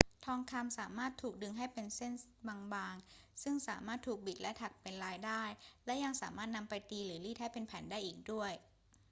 ทองคำสามารถถูกดึงให้เป็นเส้นบาง ๆ ซึ่งสามารถถูกบิดและถักเป็นลายได้ และยังสามารถนำไปตีหรือรีดให้เป็นแผ่นได้อีกด้วย